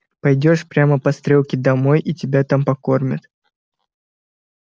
пойдёшь прямо по стрелке домой и тебя там покормят